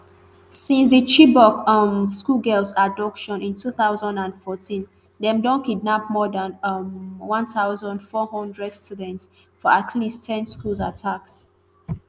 since di chibok um schoolgirls abduction in two thousand and fourteen dem don kidnap more dan um one thousand, four hundred students for at least ten school attacks